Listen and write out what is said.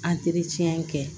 kɛ